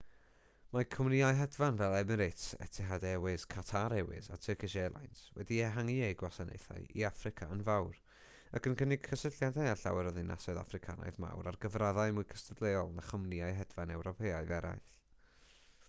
mae cwmnïau hedfan fel emirates etihad airways qatar airways a turkish airlines wedi ehangu'u gwasanaethau i affrica yn fawr ac yn cynnig cysylltiadau â llawer o ddinasoedd affricanaidd mawr ar gyfraddau mwy cystadleuol na chwmnïau hedfan ewropeaidd eraill